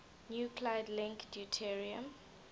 nuclide link deuterium